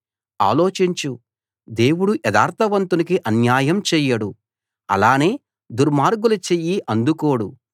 ఆలోచించు దేవుడు యథార్థవంతునికి అన్యాయం చేయడు అలానే దుర్మార్గుల చెయ్యి అందుకోడు